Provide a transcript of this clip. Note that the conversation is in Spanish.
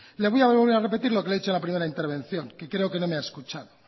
le voy a volver a repetir lo que le he dicho en la primera intervención que creo que no me ha escuchado